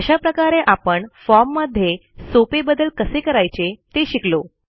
अशा प्रकारे आपण formमध्ये सोपे बदल कसे करायचे ते शिकलो